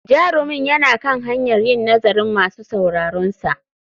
Jarumin yana kan hanyar yin nazarin masu sauraronsa.